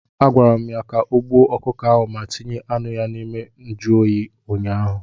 A gwara m ya ka o gbuo ọkụkọ ahụ ma tinye anụ ya n'ime njụ oyi ụnyaahụ!